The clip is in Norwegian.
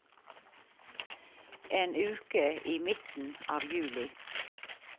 En uke i midten av juli.